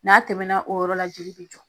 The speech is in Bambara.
N'a tɛmɛna o yɔrɔ la joli be jɔ.